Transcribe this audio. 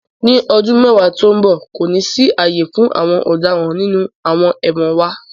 Ni ọdun mẹwa to nbọ, ko ni si aaye fun awọn ọdaràn ninu awọn ẹwọn wa